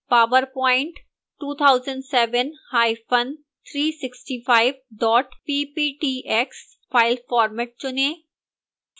powerpoint 2007365 pptx file format चुनें